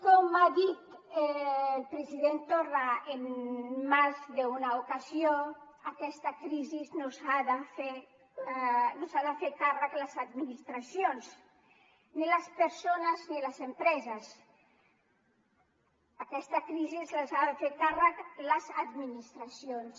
com ha dit el president torra en més d’una ocasió d’aquesta crisi se n’han de fer càrrec les administracions ni les persones ni les empreses d’aquesta crisi se n’han de fer càrrec les administracions